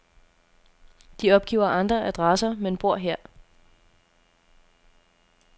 De opgiver andre adresser, men bor her.